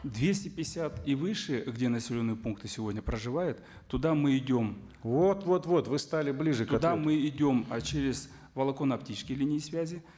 двести пятьдесят и выше где населенные пункты сегодня проживают туда мы идем вот вот вот вы стали ближе мы идем через волоконно оптические линии связи